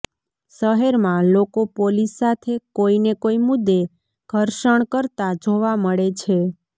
શહેરમાં લોકો પોલીસ સાથે કોઈ ને કોઈ મુદ્દે ઘર્ષણ કરતા જોવા મળે છે